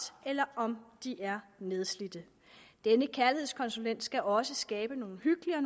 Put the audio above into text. eller om de er nedslidte denne kærlighedskonsulent skal også skabe nogle hyggelige og